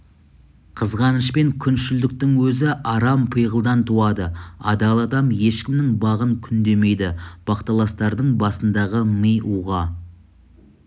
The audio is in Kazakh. қызғаныш пен күншілдіктің өзі арам пиғылдан туады адал адам ешкімнің бағын күндемейді бақталастардың басындағы ми уға